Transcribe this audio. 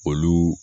Olu